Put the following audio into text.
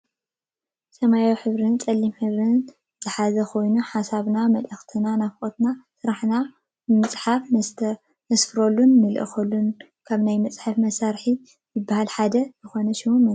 ሰማያዊ ሕብሪን ፀሊም ሕብሪን ዝሓዘኮይኑ ሓሳባትና መልእክትና ናፍቆትና ስራሕና ብምፅሓፍ ነስፍረሉን ንልእከሉን ካብ ናይ ፅሕፈት መሳርሒ ዝብሃሉ ሓደ ዝኮነ ሽሙ መን ይብሃል?